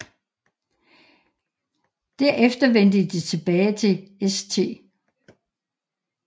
Derefter vendte de tilbage til St